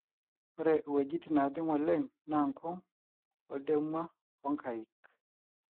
ore wootin naajing oleng naa nkung, oldemua ooh nkaik